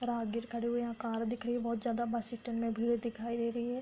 राहगीर खड़े हुए हैं यहाँ कार दिख रही है बहुत ज्यादा बस स्टैंड में भीड़ दिखाई दे रही है।